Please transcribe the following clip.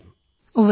ഉവ്വ് സർ